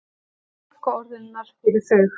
Fálkaorðunnar fyrir þau.